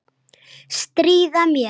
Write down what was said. Stríða mér.